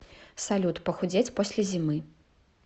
салют похудеть после зимы